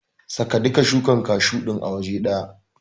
Saka duka shukar kashu din a waje ɗaya.